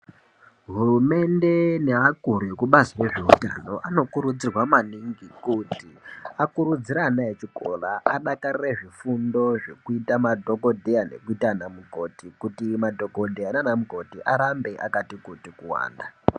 Hurumende neakuru ekubazi rezveutano anokurudzirwa maningi kuti akurudzire ana echikora adakarire zvifundo zvekuita madhokodheya nekuita ana mukoti kuti madhokodheya nana mukoti arambe akati kuti kuwanda.